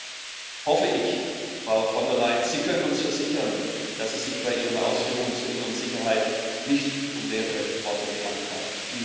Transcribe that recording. Deshalb hoffe ich, Frau von der Leyen, Sie können uns versichern, dass es sich bei Ihren Ausführungen zur inneren Sicherheit nicht um leere Worte gehandelt hat.